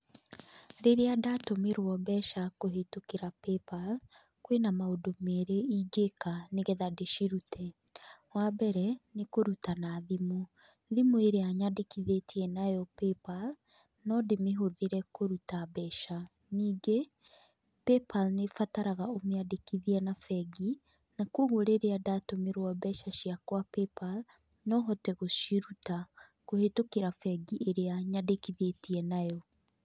Rĩrĩa ndatũmĩrwo mbeca kũhĩtũkĩra Paypal, kwĩna maũndũ merĩ ingĩka nĩgetha ndĩcirute; wambere nĩ kũruta na thimũ. Thimũ ĩrĩa nyandĩkithĩtie nayo Paypal, no ndĩmĩhũthĩre kũruta mbeca. Ningĩ Paypal nĩ ĩbataraga ũmĩandĩkithie na bengi, na kogwo rĩrĩa ndatũmĩrwo mbeca ciakwa Paypal, no hote gũciruta kũhĩtũkĩra bengi ĩrĩa nyandĩkithĩtie nayo.